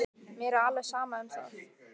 Mér er alveg sama um það.